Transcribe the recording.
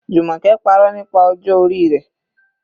Jumoke parọ́ nípa ọjọ́ orí rẹ̀.